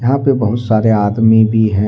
यहां पे बहुत सारे आदमी भी हैं।